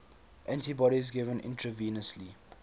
antibodies given intravenously